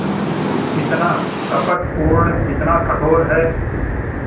कितना कपटपूर्ण कितना कठोर है